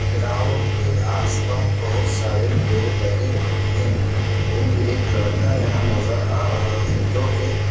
ground के आस पास बहुत सारे पेड लगे हुए है और एक लड़का यहाँ नजर आ रहा है जो के--